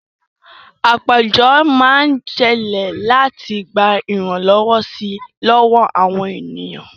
Àpéjọ máa ń ṣẹlẹ̀ láti gba ìrànlọ́wọ́ si lọ́wọ́ àwọn ènìyàn